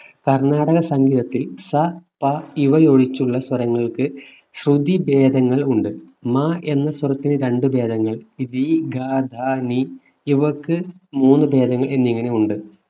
കർണാടക സംഗീതത്തിൽ സ പ ഇവയൊഴിച്ചുള്ള സ്വരങ്ങൾക്ക് ശ്രുതി ഭേദങ്ങൾ ഉണ്ട് മ എന്ന സ്വരത്തിനു രണ്ടു ഭേദങ്ങൾ രി ഗ ധ നി ഇവക്ക് മൂന്നു ഭേദങ്ങൾ എന്നിങ്ങനെ ഉണ്ട്